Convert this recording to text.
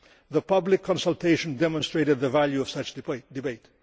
The public consultation demonstrated the value of such a debate.